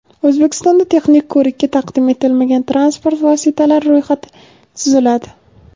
O‘zbekistonda texnik ko‘rikka taqdim etilmagan transport vositalari ro‘yxati tuziladi.